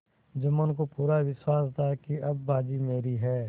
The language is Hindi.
जुम्मन को पूरा विश्वास था कि अब बाजी मेरी है